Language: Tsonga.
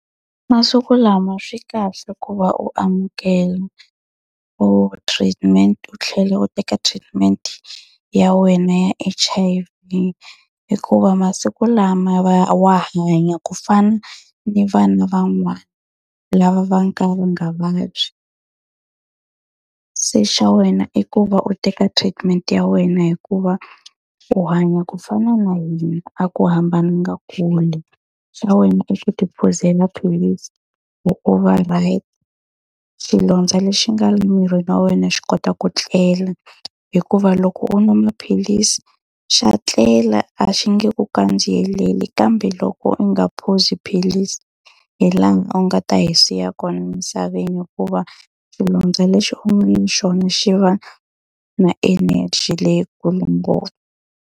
Masiku lama swi kahle ku va u amukela u treatment u tlhela u teka treatment ya wena ya H_I_V, hikuva masiku lama wa hanya ku fana ni vana van'wana lava va nga va nga vabyi. Se xa wena i ku va u teka treatment ya wena hikuva u hanya ku fana na hina, a ku hambananga kule. Xa wena i ku ti phuzela philisi, xilondza lexi nga le mirini wa wena xi kota ku tlela. Hikuva loko u nwa maphilisi xa tlela, a xi nge ku kandziyeli kambe loko u nga phuzi philisi hi laha u nga ta hi siya kona emisaveni hikuva, xilondza lexi u nga na xona xi va na energy leyikulu ngopfu.